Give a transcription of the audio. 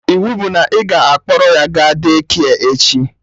Iwu bụ na ị ga-akpọrọ ya ga Daycare echi!